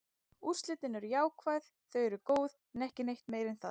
Úrslitin eru jákvæð, þau eru góð, en ekki neitt meira en það.